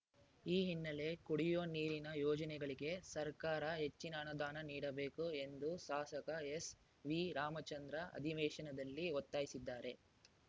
ಈ ಹಿನ್ನೆಲೆ ಕುಡಿಯುವ ನೀರಿನ ಯೋಜನೆಗಳಿಗೆ ಸರ್ಕಾರ ಹೆಚ್ಚಿನ ಅನುದಾನ ನೀಡಬೇಕು ಎಂದು ಶಾಸಕ ಎಸ್‌ವಿರಾಮಚಂದ್ರ ಅಧಿವೇಶನದಲ್ಲಿ ಒತ್ತಾಯಿಸಿದ್ದಾರೆ